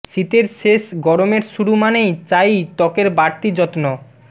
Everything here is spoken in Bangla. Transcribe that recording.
শীতের শেষ গরমের শুরু মানেই চাই ত্বকের বাড়তি যত্ন